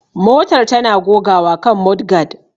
Motar tana gogawa kan mudguard